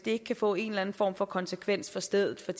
ikke kan få en eller anden form for konsekvens for stedet for